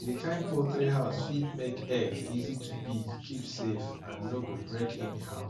di kind poultry house fit make egg easy to pick keep safe and no go break anyhow